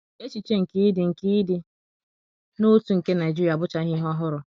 Echiche nke ịdị nke ịdị n’otu nke ndi Naijiria abụchaghị ihe ọhụrụ.